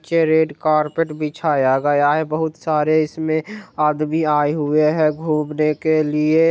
Red carpet बिछाया गया है बहुत सारे इसमें आदमी आए हुए है घूमने के लिए।